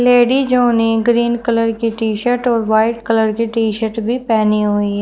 लेडीजो ने green colour की T shirt और व्हाइट कलर की टी शर्ट भी पहनी हुई है।